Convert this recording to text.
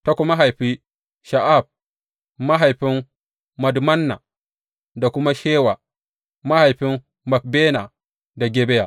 Ta kuma haifi Sha’af mahaifin Madmanna da kuma Shewa, mahaifin Makbena da Gibeya.